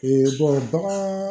bagan